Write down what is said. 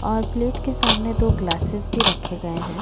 और प्लेट के सामने दो ग्लासेस भी रखे गए है।